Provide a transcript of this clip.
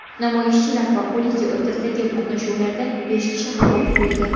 Namoyishchilar va politsiya o‘rtasidagi to‘qnashuvlarda besh kishi halok bo‘ldi.